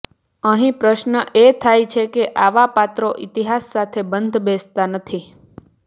અહીં પ્રશ્ન એ થાય છે કે આવા પાત્રો ઇતિહાસ સાથે બંધબેસતા નથી